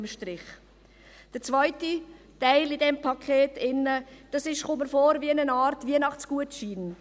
Der zweite Teil in diesem Paket kommt mir vor wie eine Art Weihnachtsgutschein.